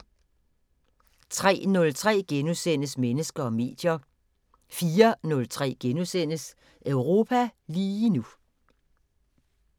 03:03: Mennesker og medier * 04:03: Europa lige nu *